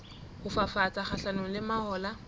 ho fafatsa kgahlanong le mahola